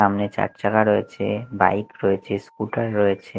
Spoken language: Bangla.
সামনে চারচাকা রয়েছে বাইক রয়েছে স্কুটার রয়েছে।